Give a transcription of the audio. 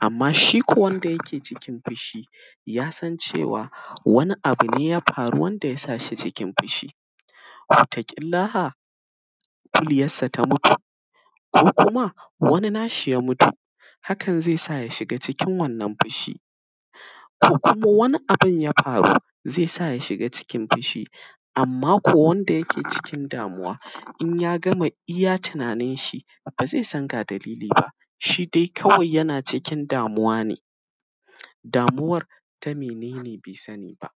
amma shi ko wanda yake cikin fishi, ya san cewa, wani abu ne ya faru wanda ya sa shi cikin fishi. Wataƙillaha, kuliyassa ta mutu ko kuma wani nashi ya mutu, hakan ze sa ya shiga cikin wannan fishi. Ko kuma, wani abin ya faru, ze sa ya shiga cikin fishi, amma ko wanda yake cikin damuwa, in y agama iya tinaninshi, ba ze san ga dalili ba, shi dai kawai yana cikin damuwa ne, damuwar ta mene ne, be sani ba.